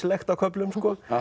legt á köflum sko